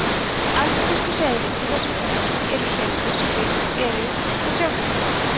algengustu hreiðrin í þessum flokki eru hreiður sem byggð eru á trjágreinum